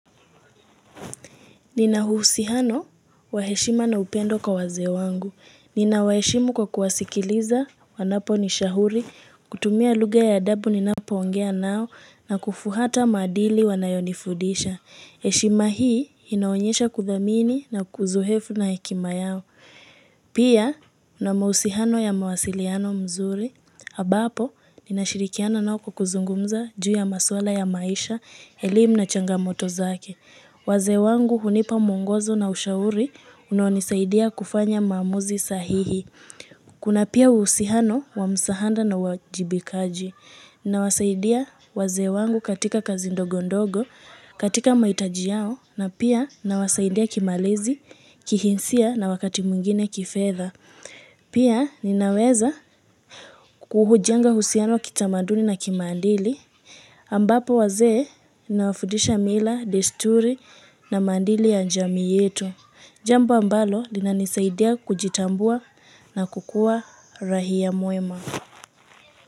Nina uhusihano wa heshima na upendo kwa wazee wangu. Ninawaheshimu kwa kuwasikiliza wanaponishahuri, kutumia lugha ya adabu ninapoongea nao na kufuata maadili wanayonifudisha. Heshima hii inaonyesha kuthamini na ozoefu na hekima yao. Pia, na mahusiano ya mawasiliano mzuri. Ambapo, ninashirikiana nao kwa kuzungumza juu ya maswala ya maisha, elimu na changamoto zake. Wazee wangu hunipa mungozo na ushauri unaonisaidia kufanya maamuzi sahihi. Kuna pia uhusiano wa msaada na uwajibikaji. Nawasaidia wazee wangu katika kazi ndogo ndogo, katika mahitaji yao, na pia nawasaidia kimalezi, kihisia na wakati mwingine kifedha. Pia ninaweza kuhujenga usihano wa kitamaduni na kimaadili. Ambapo wazee nawafundisha mila, desturi na maadili ya jamii yetu. Jambo ambalo linanisaidia kujitambua na kukuwa raia mwema.